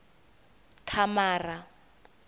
thamara